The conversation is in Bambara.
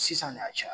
Sisan de a caya